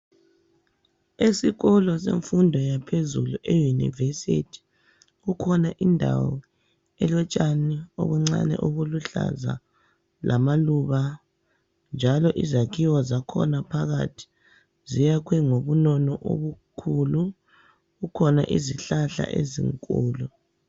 Esikolo semfundo yaphezulu eyunivesithi kukhona indawo elotshani obuncane obuluhlaza lamaluba njalo izakhiwo zakhona phakathi ziyakhwe ngobunono obukhulu, kukhona izihlahla ezinkulu.